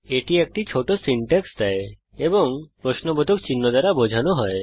এটি একটি ছোট সিনট্যাক্স দেয় এবং প্রশ্নবোধক চিহ্ন দ্বারা বোঝানো হয়